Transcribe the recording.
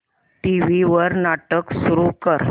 TV वर नाटक सुरू कर